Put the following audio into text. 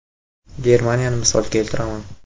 Germaniyani misol keltiraman.